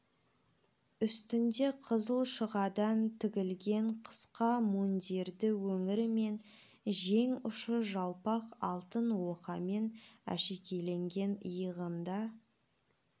үстінде қызыл шұғадан тігілген қысқа мундирдің өңірі мен жең ұшы жалпақ алтын оқамен әшекейленген иығында